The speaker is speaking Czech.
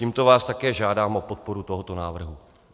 Tímto vás také žádám o podporu tohoto návrhu.